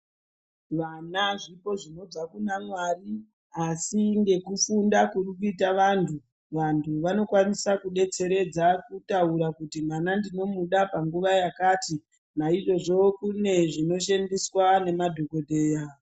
Vana zvipo zvinobva kuna mwari asi ngekufunda kurikuita vantu. Vantu vanokwanisa kubetseredza kutaura kuti mwana ndinomuda panguva yakati. Naizvozvo kune zvinoshandiswa ngemadhogodheya.